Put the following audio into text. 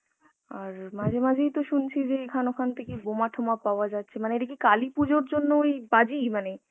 আর মাঝে মাঝেই তো শুনছি যে এখান ওখান থেকে বোমা টোমা পাওয়া যাচ্ছে মানে এটা কি কালী পূজার জন্য ওই বাজি মানে